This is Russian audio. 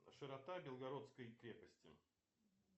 широта белгородской крепости